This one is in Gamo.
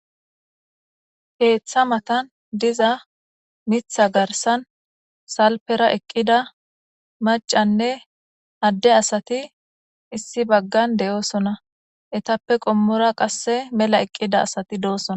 Heeththa matan diza mitha garsan salpera eqqida macanne adde asati issi baggan de7oosona etappe qommora qasse mela eqqida asati doosona.